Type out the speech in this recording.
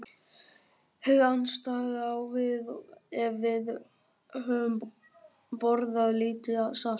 Hið andstæða á við ef við höfum borðað lítið salt.